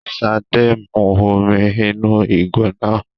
ṣade mú omí inú ìgò náà